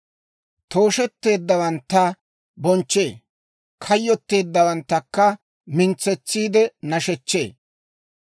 Toosheteeddawantta bonchchee; kayyottiyaawanttakka mintsetsiide nashechchee.